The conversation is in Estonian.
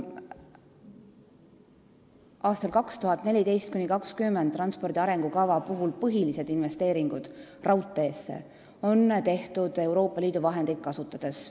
Aastate 2014–2020 transpordi arengukava järgsed põhilised investeeringud raudteesse on tehtud Euroopa Liidu vahendeid kasutades.